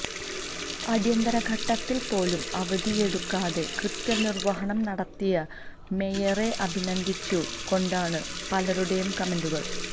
അടിയന്തിരഘട്ടത്തില് പോലും അവധിയെടുക്കാതെ കൃത്യനിര്വഹണം നടത്തിയ മേയറെ അഭിനന്ദിച്ചു കൊണ്ടാണ് പലരുടെയും കമന്റുകള്